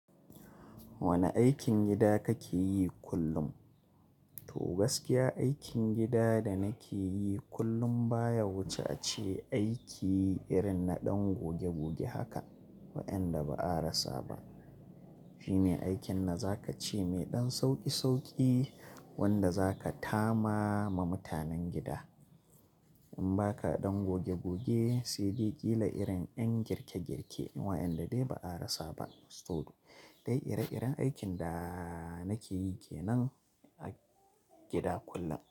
Wane aikin gida kake yi kullum? To gaskiya aikin gida da nake yi kullum baya wuce aiki irin na ɗan goge goge haka waɗanda ba a rasa ba. Shime aikin na zaka ce mai ɗan sauƙi sauƙi wanda zaka tama ma mutanen gida. In ba ka ɗan goge goge sai dai ƙila irin 'yan girke girke waɗanda dai ba a rasa ba. To dai ire-iren aikin da nake yi ke nan a gida kullum.